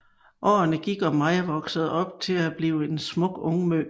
Årene gik og Maija voksede op til at blive en smuk ungmø